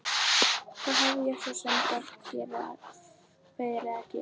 Hvað hef ég svo sem verið að gera?